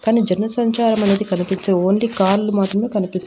కాని జనసంచారం అనేది కనిపించ ఓన్లీ కార్లు మాత్రమే కనిపిస్తున్నాయి.